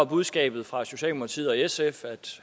budskabet fra socialdemokratiet og sf at